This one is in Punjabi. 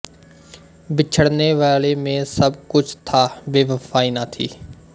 ਬਿਛੜਨੇ ਵਾਲੇ ਮੇਂ ਸਭ ਕੁਛ ਥਾ ਬੇਵਫਾਈ ਨਾ ਥੀ